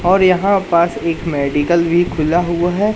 और यहां पास एक मेडिकल भी खुला हुआ है।